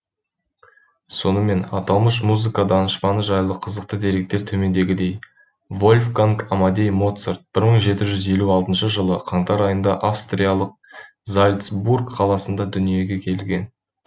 сонымен аталмыш музыка данышпаны жайлы қызықты деректер төмендегідей вольфганг амадей моцарт бір мың жеті жүз елу алтыншы жылы қаңтар айында австриялық зальцбург қаласында дүниеге келген